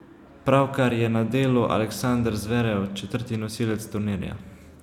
Pravkar je na delu Aleksander Zverev, četrti nosilec turnirja.